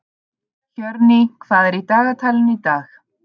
Hjörný, hvað er í dagatalinu í dag?